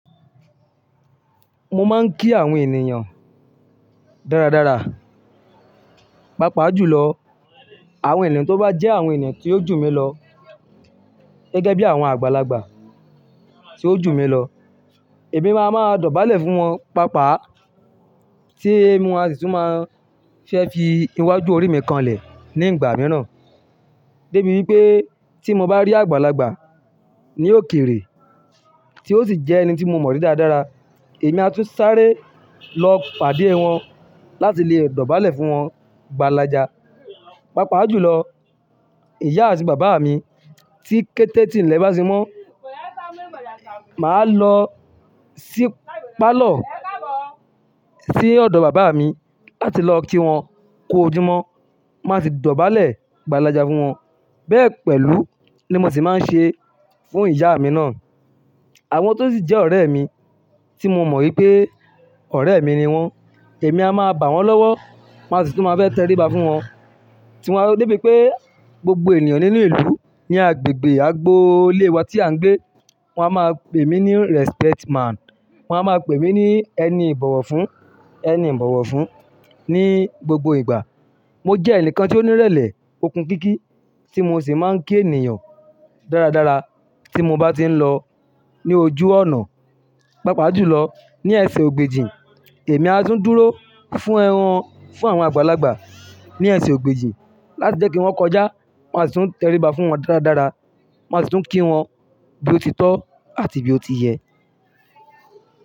Mo máa ń kí àwọn ènìyàn dáradára. Papa ju lọ, àwọn ènìyàn tó bá jẹ́ àwọn ènìyàn tí ó jù mí lọ gẹ́gẹ́ bí àwọn àgbàlagbà tí ó jù mí lọ, èmi máa ma dọ̀bálẹ̀ fún wọn. Pápá tí wọn a sì tún máa fẹ́ fi iwájú orí mi kanlẹ̀ ní ìgbà mìíràn. Débi wípé tí mo bá rí àgbàlagbà ní òkèrè tí ó sì jẹ́ ẹni tí mo mọri dáradára, èmi a tún sáré lọ pàdé wọn láti lè dọ̀bálẹ̀ fún wọn gbàlàjà. Papa ju lọ, ìyá àti bàbá mi tí kété tílẹ̀ bá ti mọ́, màá lọ sí pálọ̀ sí ọ̀dọ̀ bàbá mi láti lọ kí wọn kú ojúmọ́, máa sì dọ̀bálẹ̀ gbàlàjà fún wọn. Bẹ́ẹ̀ pẹ̀lú ni mo sì máa ń ṣe fún ìyá mi náà. Àwọn tó sì jẹ́ ọ̀rẹ́ mi tí mo mọ̀ wípé ọ̀rẹ́ mi ni wọ́n, èmi a máa bá wọn lọ́wọ́ máa sì tún máa fẹ́ tẹríba fún wọn. Tí wọn débi pé gbogbo ènìyàn nínú ìlú ní agbègbè agboolé wa tí à ń gbé, wọ́n á máa pè mí ní respect man. Wọ́n á máa pè mí ní ẹni ìbọ̀wọ̀ fún, ẹni ìbọ̀wọ̀ fún ní gbogbo ìgbà. Mo jẹ́ ẹnìkan tí ó ní ìrẹ̀lẹ̀ okunkiki tí mo sì máa ń kí ènìyàn dáradára tí mo bá ti ń lọ ní ojú ọnà. Pápá ju lọ, ní ẹsẹ̀ ògbèjì, èmi a tún dúró fún n fún àwọn àgbàlagbà ní ẹsẹ̀ ògbèjì láti jẹ́ kí wọ́n kọjá. Wọn a sì tún tẹríba fún wọn dáradára. Wọn a sì tún kí wọn bí ó ti tọ́ àti bí ó ti yẹ.